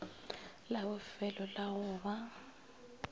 la bofelo la go ba